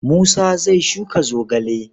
Musa zai shuka zogale.